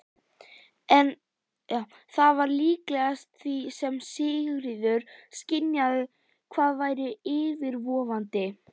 Það var líkast því sem Sigríður skynjaði hvað væri yfirvofandi.